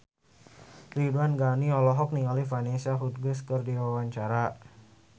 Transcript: Ridwan Ghani olohok ningali Vanessa Hudgens keur diwawancara